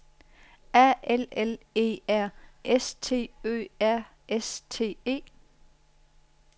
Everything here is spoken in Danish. A L L E R S T Ø R S T E